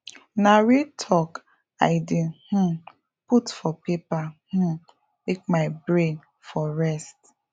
na real talk i dey um put for paper um make my brain for rest